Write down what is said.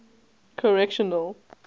correctional